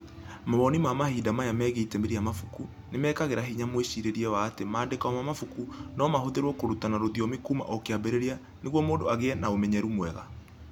Mawoni ma mahinda maya megiĩ itemi rĩa mabuku nĩ mekagĩra hinya mwĩcirĩrie wa atĩ maandĩko ma mabuku no mahũthĩrũo kũrutana rũthiomi kuuma o kĩambĩrĩria nĩguo mũndũ agĩe na ũmenyeru mwega.